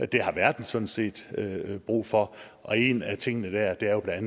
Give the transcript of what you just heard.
det har verden sådan set brug for og en af tingene dér er jo bla